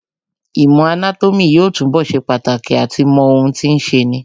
Īmò anátómī yóò túnbọ̀ ṣe pàtàkì àti mọ ohun tí ń ṣeni